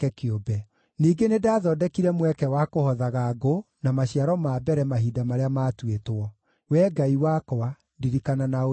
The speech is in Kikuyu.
Ningĩ nĩndathondekire mweke wa kũhothaga ngũ na maciaro ma mbere mahinda marĩa maatuĩtwo. Wee Ngai wakwa, ndirikana na ũnjĩke wega.